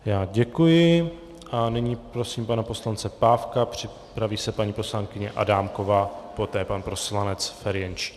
Já děkuji a nyní prosím pana poslance Pávka, připraví se paní poslankyně Adámková, poté pan poslanec Ferjenčík.